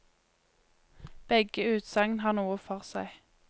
Begge utsagn har noe for seg.